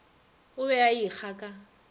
o be a ekga ka